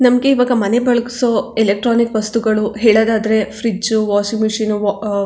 ನಮ್ಗೆ ಈವಾಗ ಮನೆ ಬೆಳಗ್ಸೋ ಇಲೆಕ್ಟ್ರಾನಿಕ್ ವಸ್ತುಗಳು ಹೇಳೋದಾದ್ರೆ ಫ್ರಿಡ್ಜ್ ವಾಷಿಂಗ್ ಮಷೀನ್ ಆಹ್ಹ್ --